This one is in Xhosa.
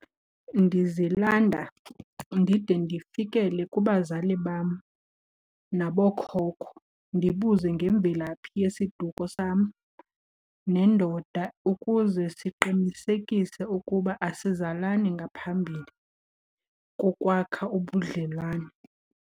Ndizilanda ndide ndifikele kubazali bam nabookhokho, ndibuze ngemvelaphi yesiduko sam nendoda ukuze siqinisekise ukuba asizalani ngaphambili kokwakha ubudlelwane.